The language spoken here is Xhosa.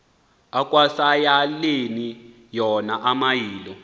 asekwayaleni wona amayilo